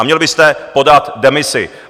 A měl byste podat demisi.